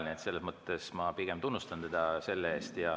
Nii et selles mõttes ma pigem tunnustan teda selle eest.